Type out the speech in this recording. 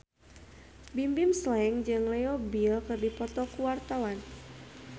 Bimbim Slank jeung Leo Bill keur dipoto ku wartawan